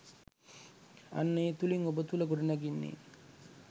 අන්න ඒ තුළින් ඔබ තුළ ගොඩනැගෙන්නේ